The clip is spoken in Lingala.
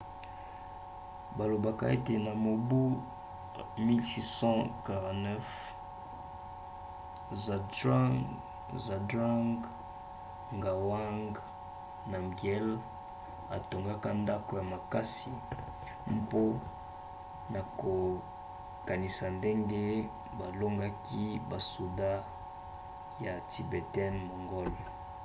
balobaka ete na mobu 1649 zhabdrung ngawang namgyel atongaka ndako ya makasi mpona kokanisa ndenge balongaki basoda ya tibetain-mongol